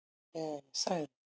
Þegar ég sagði